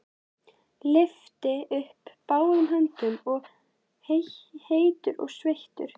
Lyfti upp báðum höndum, heitur og sveittur.